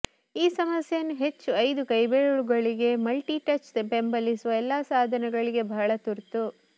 ಈ ಸಮಸ್ಯೆಯನ್ನು ಹೆಚ್ಚು ಐದು ಕೈಬೆರಳುಗಳಿಗೆ ಮಲ್ಟಿ ಟಚ್ ಬೆಂಬಲಿಸುವ ಎಲ್ಲಾ ಸಾಧನಗಳಿಗೆ ಬಹಳ ತುರ್ತು